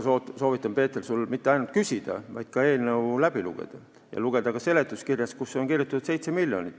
Ma soovitan, Peeter, sul mitte ainult küsida, vaid ka eelnõu läbi lugeda ja lugeda ka seletuskirja, kus on kirjas 7 miljonit.